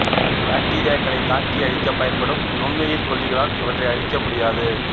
பாக்டீரியாக்களைத் தாக்கியழிக்கப் பயன்படும் நுண்ணுயிர்க் கொல்லிகளால் இவற்றை அழிக்க முடியாது